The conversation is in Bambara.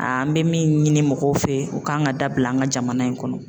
An bɛ min ɲini mɔgɔw fɛ u ka kan ka dabila an ka jamana in kɔnɔ.